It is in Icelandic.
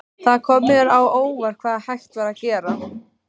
Það kom mér á óvart hvað hægt var að gera.